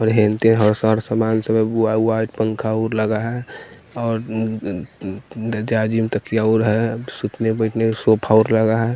और हिन्ते हर सर समान सब व्हा व्हाइट पंख आऊर लगा है और उँ उँ उँ दज्याजिम तकिया आऊर है सुतने बैठने के सोफा आऊर लगा है।